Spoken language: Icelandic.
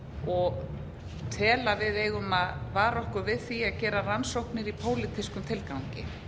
og tel að við eigum að vara okkur við því að gera rannsóknir í pólitískum tilgangi